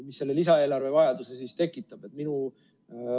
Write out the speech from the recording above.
Mis selle lisaeelarve vajaduse siis tekitab?